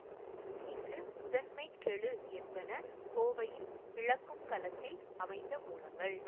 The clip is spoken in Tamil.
இங்கு முதன்மைக் கெழு என்பன கோவையின் பிளக்கும் களத்தில் அமைந்த மூலங்கள்